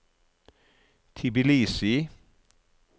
Tbilisi